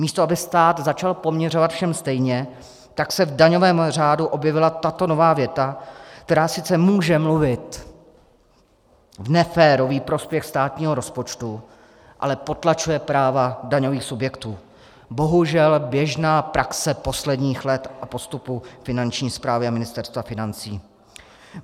Místo aby stát začal poměřovat všem stejně, tak se v daňovém řádu objevila tato nová věta, která sice může mluvit v neférový prospěch státního rozpočtu, ale potlačuje práva daňových subjektů - bohužel běžná praxe posledních let v postupu Finanční správy a Ministerstva financí.